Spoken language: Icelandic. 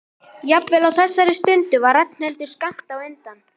Jafnvel á þessari stundu var Ragnhildur skammt undan.